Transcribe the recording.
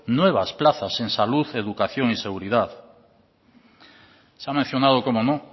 nuevas plazas en salud educación y seguridad se ha mencionado cómo no